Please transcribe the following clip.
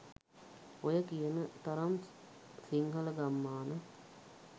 ඔය කියන තරම් සිංහල ගම්මාන